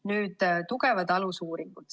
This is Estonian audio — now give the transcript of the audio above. Nüüd tugevatest alusuuringutest.